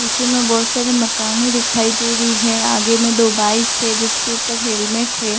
पीछे मे बहोत सारे माकने दिखाई दे रही हैआगे में दो बाइक हैजिसके ऊपर हेलमेट है।